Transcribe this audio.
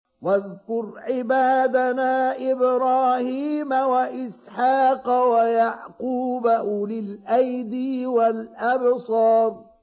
وَاذْكُرْ عِبَادَنَا إِبْرَاهِيمَ وَإِسْحَاقَ وَيَعْقُوبَ أُولِي الْأَيْدِي وَالْأَبْصَارِ